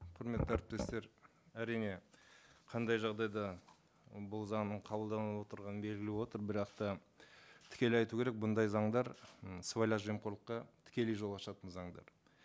құрметті әріптестер әрине қандай жағдайда бұл заңның қабылданып отырғаны белгілі болып отыр бірақ та тікелей айту керек бұндай заңдар м сыбайлас жемқорлыққа тікелей жол ашатын заңдар